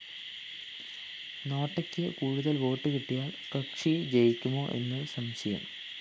നോട്ടയ്ക്ക്‌ കൂടുതല്‍ വോട്ട്‌ കിട്ടിയാല്‍ കക്ഷി ജയിക്കുമോ എന്നും സംശയം